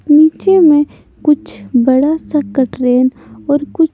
नीचे में कुछ बड़ा सा कट्रेन और कुछ --